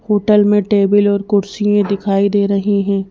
Hotel में table और कुर्सियें दिखाई दे रहें हैं।